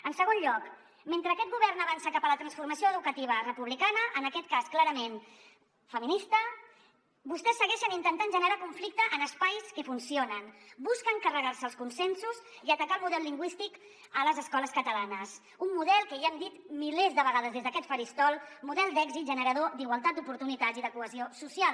en segon lloc mentre aquest govern avança cap a la transformació educativa republicana en aquest cas clarament feminista vostès segueixen intentant generar conflicte en espais que funcionen busquen carregar·se els consensos i atacar el mo·del lingüístic a les escoles catalanes un model que ja ho hem dit milers de vegades des d’aquest faristol d’èxit generador d’igualtat d’oportunitats i de cohesió social